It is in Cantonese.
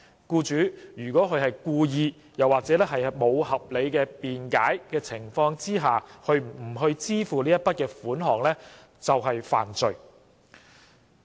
僱主如果故意及無合理辯解而不支付該額外款項，即屬犯罪。